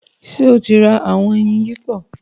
Ṣe o rá awọn ẹyin yipo?